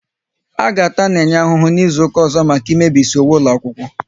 A ga-ata Nenye ahụ n'izuka ọzọ maka ị mebisi uwe ụlọ akwụkwọ